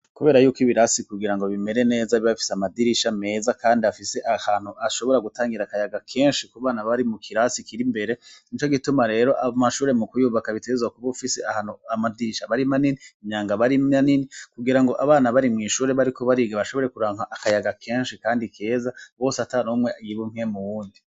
Kubera yuko ibirasi kugira ngo bimere neza bibafise amadirisha meza, kandi hafise ahantu ashobora gutangira akayaga kenshi ku bana bari mu kirasi kiri imbere ni co gituma rero amashure mu kuyubaka bitezwa kuba uufise ahantu amadirisha barima nini imyanga barima nini kugira ngo abana bari mw'ishure bari kubariga bashobore kuranka akayaga kenshi, kandi keza bose ata nomwe yiba umpwemu wundi.